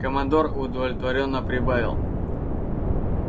командор удовлетворённо прибавил